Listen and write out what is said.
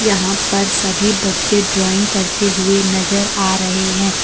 यहां पर सभी बच्चे ड्राइंग करते हुए नजर आ रहे हैं।